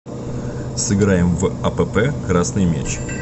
сыграем в апп красный мяч